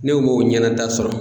Ne m'o ɲɛna da sɔrɔ